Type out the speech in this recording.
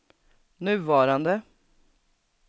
nuvarande